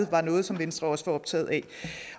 var noget som venstre også var optaget af